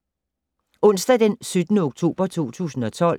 Onsdag d. 17. oktober 2012